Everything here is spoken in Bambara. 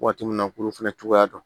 Waati min na k'olu fɛnɛ cogoya dɔn